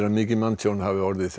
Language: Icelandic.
að mikið manntjón hafi orðið